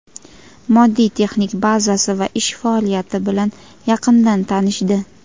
moddiy texnik bazasi va ish faoliyati bilan yaqindan tanishdi.